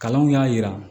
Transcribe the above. Kalanw y'a jira